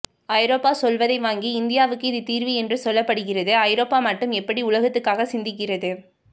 ஐரோப்பா சொல்வதை வாங்கி இந்தியாவுக்கு இது தீர்வு என்று சொல்லப்படுகிறது ஐரோப்பா மட்டும் எப்படி உலகத்துக்காக சிந்திக்கிறது